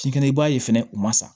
Si kɛnɛ i b'a ye fɛnɛ u ma sa